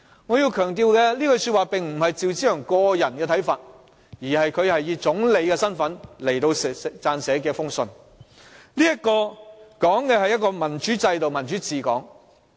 "我要強調，這句話並非趙紫陽個人的看法，而是他以總理身份撰寫的一封信，信中指的是一個民主制度及民主治港。